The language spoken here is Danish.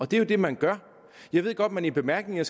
det er jo det man gør jeg ved godt at man i bemærkningerne